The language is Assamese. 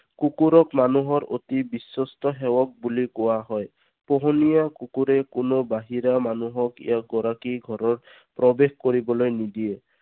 কুকুৰক মানুহৰ অতি বিশ্বস্ত সেৱক বুলি কোৱা হয়। পোহনীয়া কুকুৰে কোনো বাহিৰা মানুহক ইয়াৰ গৰাকীৰ ঘৰৰ ভিতৰত প্ৰৱেশ কৰিবলৈ নিদিয়ে।